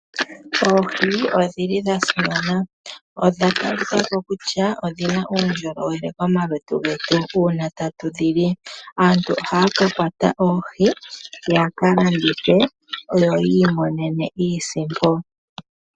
Oohi odhili dhasimana, odhatalika ko kutya odhina uundjolowele momalutu getu uuna tatu dhili. Aantu ohaya ka kwata oohi ya ka landithe yo yiimonene iisimpo.